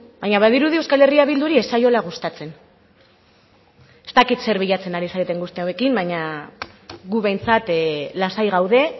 baina badirudi euskal herria bilduri ez zaiola gustatzen ez dakit zer bilatzen ari zareten guzti hauekin baina gu behintzat lasai gaude